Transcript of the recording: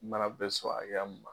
Mana bɛ so hakɛya mun ma